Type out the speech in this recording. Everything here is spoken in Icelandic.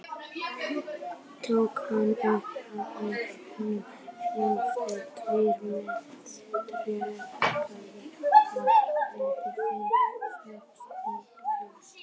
Tók hann upp úr honum járntengur tvær með tréskafti og lét Finn setja í glóðarkerið.